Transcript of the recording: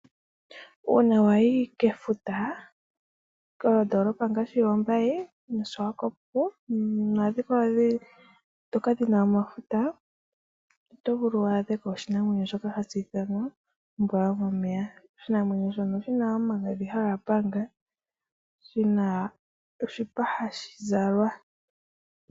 Efutu ohalyaadhika koMbaye no koSwakop moNamibia nuuna wayako wukatalelepo efuta, mefuta omuna oombwa dhomomeya ndhoka hadhizi omagadhi haga panga nosho woo oshipa hashi zalwa.